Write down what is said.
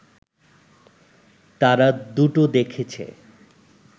তারাদুটো দেখেছে